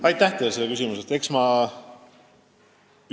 Aitäh selle küsimuse eest!